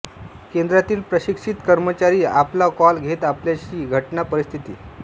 केंद्रातील प्रशिक्षित कर्मचारी आपला कॉल घेत आपल्याशी घटना परिस्थिती